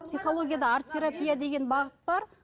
психологияда арт терапия деген бағыт бар